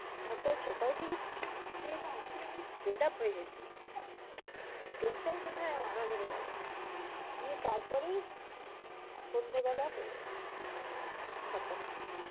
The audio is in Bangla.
আমার তো আজ সকাল থেকে booking হচ্ছেই না হচ্ছেই না আমি fed up হয়ে গেছি। tension tension এ মাথা ধরে গেল। গিয়ে তারপরে সন্ধ্যে বেলা হলো। সাতটার সময়।